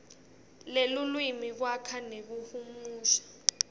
lwelulwimi kwakha nekuhumusha